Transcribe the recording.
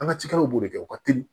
An ka cikɛlaw b'o de kɛ u ka teli